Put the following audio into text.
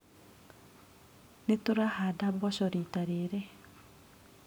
Nĩtũrahanda mboco rita rĩrĩ.